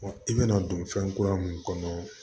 i bɛna don fɛn kura mun kɔnɔ